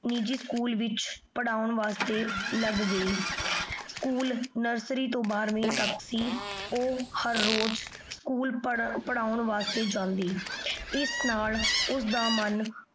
ਨਿਜੀ ਸਕੂਲ ਵਿਚ ਪਰ੍ਹਾਉਣ ਵਾਸਤੇ ਲਾਗ ਗਈ nursery ਤੋਂ ਬਾਰਹਵੀੰ ਤਕ ਸੀ ਊ ਹਰ ਰੋਜ਼ ਸਕੂਲ ਪਰ੍ਹਾਉਣ ਵਾਸਤੇ ਜਾਂਦੀ ਏਸ ਨਾਲ ਓਸਦਾ ਮਨ